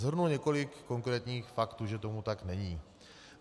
Shrnu několik konkrétních faktů, že tomu tak není.